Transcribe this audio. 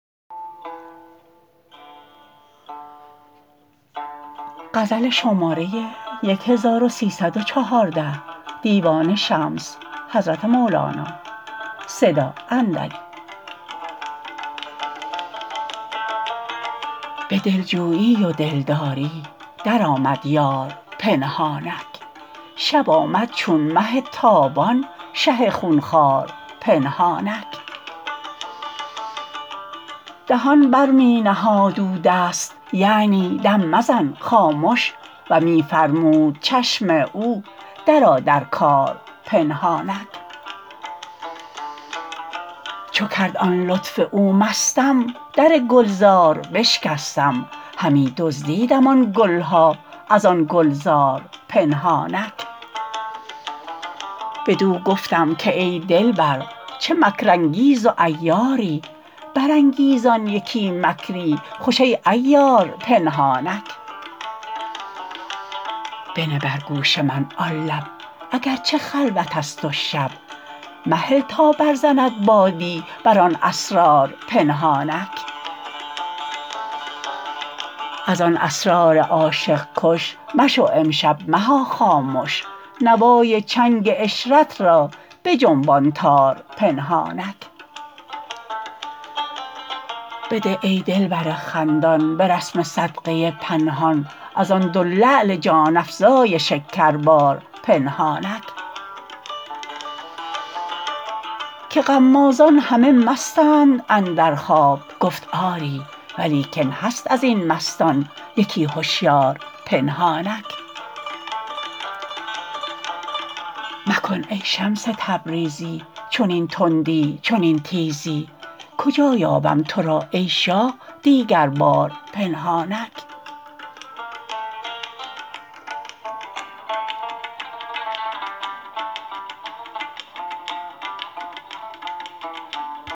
به دلجویی و دلداری درآمد یار پنهانک شب آمد چون مه تابان شه خون خوار پنهانک دهان بر می نهاد او دست یعنی دم مزن خامش و می فرمود چشم او درآ در کار پنهانک چو کرد آن لطف او مستم در گلزار بشکستم همی دزدیدم آن گل ها از آن گلزار پنهانک بدو گفتم که ای دلبر چه مکرانگیز و عیاری برانگیزان یکی مکری خوش ای عیار پنهانک بنه بر گوش من آن لب اگر چه خلوتست و شب مهل تا برزند بادی بر آن اسرار پنهانک از آن اسرار عاشق کش مشو امشب مها خامش نوای چنگ عشرت را بجنبان تار پنهانک بده ای دلبر خندان به رسم صدقه پنهان از آن دو لعل جان افزای شکربار پنهانک که غمازان همه مستند اندر خواب گفت آری ولیکن هست از این مستان یکی هشیار پنهانک مکن ای شمس تبریزی چنین تندی چنین تیزی کجا یابم تو را ای شاه دیگربار پنهانک